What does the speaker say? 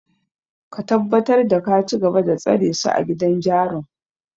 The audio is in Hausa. Ka tabbatar da ka cigaba da tsare su a gidan jarun!